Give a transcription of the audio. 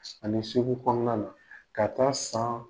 Ani segu kɔnɔna na ka taa san